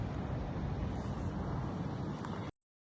Çalışacam ki, gələcək inşallah daha yaxşı olsun.